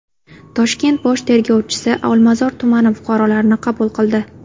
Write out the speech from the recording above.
Toshkent bosh tergovchisi Olmazor tumani fuqarolarini qabul qildi.